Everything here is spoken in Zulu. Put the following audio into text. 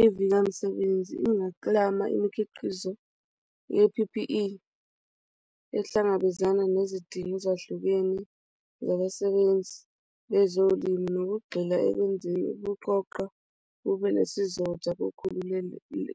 Ivika misebenzi ingaklama imikhiqizo ye-P_P_E ekuhlangabezana nezidingo ezahlukene zabasebenzi bezolimo nokugxila ekwenzeni ukuqoqa kube nesizotha